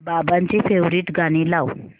बाबांची फेवरिट गाणी लाव